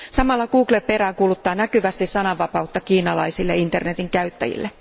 Samalla Google peräänkuuluttaa näkyvästi sananvapautta kiinalaisille internetin käyttäjille.